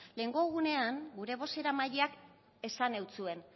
lehengo egunean gure bozeramaileak esan eutsuen